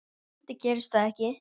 Vonandi gerist það ekki.